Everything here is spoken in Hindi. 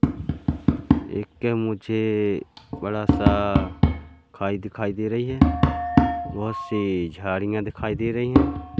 एक मुझे बड़ा सा खाई दिखाई दे रही है। बहोत सी झाड़ियां दिखाई दे री है।